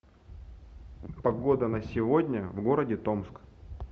погода на сегодня в городе томск